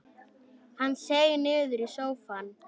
Hann seig niður í sófann.